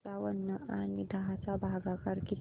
पंचावन्न आणि दहा चा भागाकार किती